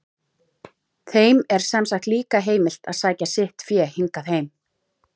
Þeim er sem sagt líka heimilt að sækja sitt fé hingað heim.